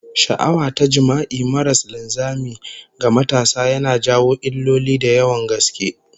Sha'awa ta jima'i maras linzami ga matasa yana jawo illoli da yawan gaske